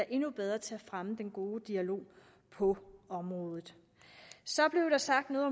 endnu bedre til at fremme den gode dialog på området så blev der sagt noget